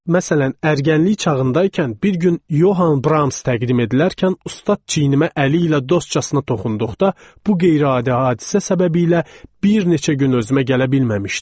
Məsələn, ərgənlik çağındaykən bir gün Yohan Brams təqdim edilərkən ustad çiynimə əli ilə dostcasına toxunduğda bu qeyri-adi hadisə səbəbi ilə bir neçə gün özümə gələ bilməmişdim.